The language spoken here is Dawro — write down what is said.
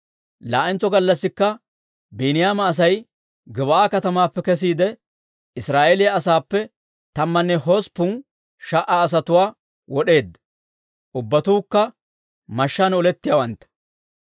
Laa"entso gallassikka Biiniyaama Asay Gib'aa katamaappe kesiide, Israa'eeliyaa asaappe tammanne hosppun sha"a asatuwaa wod'eedda; ubbatuukka mashshaan olettiyaawantta.